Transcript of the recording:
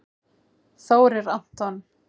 Þórir Anton